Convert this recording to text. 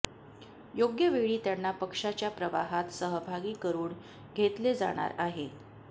योग्य वेळी त्यांना पक्षाच्या प्रवाहात सहभागी करून घेतले जाणार आहे